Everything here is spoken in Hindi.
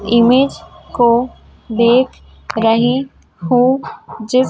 इमेज को देख रही हूँ जिस--